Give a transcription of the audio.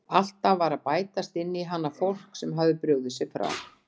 Alltaf var að bætast inn í hana fólk sem hafði brugðið sér frá.